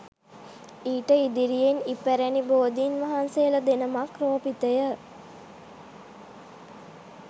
ඊට ඉදිරියෙන් ඉපැරණි බෝධීන් වහන්සේලා දෙනමක් රෝපිතය